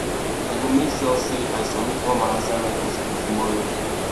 i go make sure sey i submit all my assignment for skool tomorrow